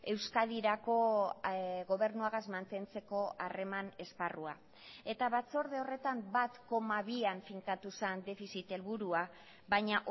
euskadirako gobernuagaz mantentzeko harreman esparrua eta batzorde horretan bat koma bian finkatu zen defizit helburua baina